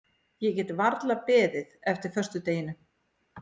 Ég get varla beðið eftir föstudeginum.